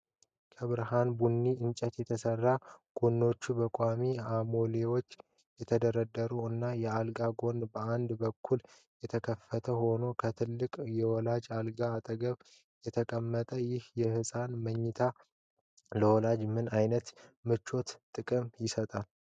ከብርሃን ቡኒ እንጨት የተሰራ፣ ጎኖቹ በቋሚ አሞሌዎች የተደረደሩበት እና የአልጋው ጎን በአንዱ በኩል የተከፈተ ሆኖ ከትልቅ የወላጆች አልጋ አጠገብ የተቀመጠው ይህ የህፃናት መተኛትያ (Co-sleeper)፣ ለወላጆች ምን አይነት ምቾትና ጥቅም ይሰጣል?